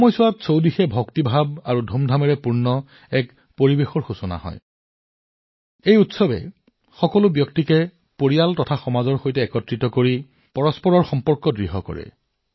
ইয়াৰ মাজতে উৎসাহ আৰু আনন্দৰে ভক্তিৰ পৰিৱেশে জনসাধাৰণক কাষ চপাই আনে তেওঁলোকক পৰিয়াল আৰু সমাজৰ সৈতে সংযোজিত কৰে পাৰস্পৰিক সম্পৰ্ক শক্তিশালী কৰে